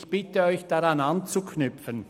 Ich bitte Sie, an diesen Entscheid anzuknüpfen.